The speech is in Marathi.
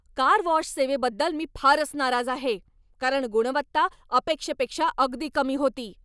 कार वॉश सेवेबद्दल मी फारच नाराज आहे, कारण गुणवत्ता अपेक्षेपेक्षा अगदी कमी होती.